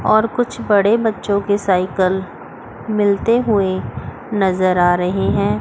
और कुछ बड़े बच्चों के साइकिल मिलते हुए नजर आ रहे हैं।